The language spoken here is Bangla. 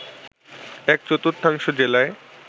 এক-চতুর্থাংশ জেলায়